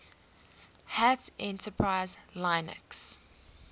hat enterprise linux